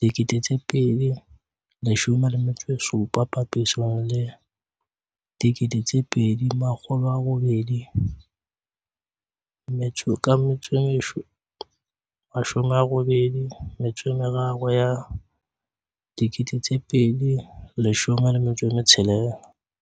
2017 papisong le 2883 ya 2016."